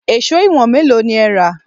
Èṣó ìwọ̀n mélòó ni ẹ rà?